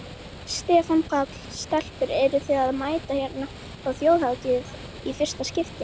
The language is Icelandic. Stefán Páll: Stelpur eruð þið að mæta hérna á Þjóðhátíð í fyrsta skipti?